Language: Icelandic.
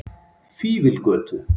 Fífilgötu